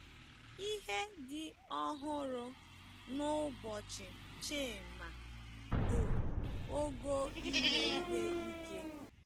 Ihe dị ọhụrụ n'ụbọchị chima bụ ogo ime ihe ike.